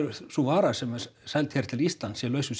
sú vara sem er seld hér til Íslands sé laus við